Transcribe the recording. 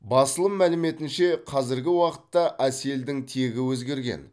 басылым мәліметінше қазіргі уақытта әселдің тегі өзгерген